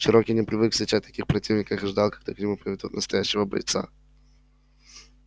чероки не привык встречать таких противников и ждал когда к нему приведут настоящего бойца